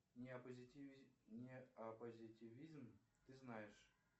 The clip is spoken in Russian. неопозитивизм ты знаешь